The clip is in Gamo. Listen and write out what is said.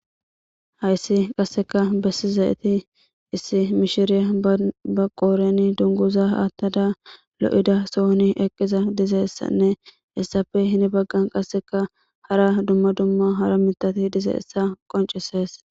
Haysi qaseka besuzayt issi miahtya ba qodheni dunguza atada lo'iza sohon eqada dizaysanne hesappe heni bagan qaseka hara dumma dumma hara mithati dizaysa qoncisesi.